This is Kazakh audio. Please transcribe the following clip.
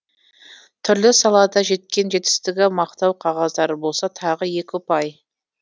түрлі салада жеткен жетістігі мақтау қағаздары болса тағы екі ұпай